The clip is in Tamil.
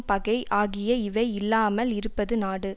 பகை ஆகிய இவை இல்லாமல் இருப்பது நாடு